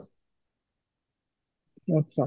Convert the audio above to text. ଆଛା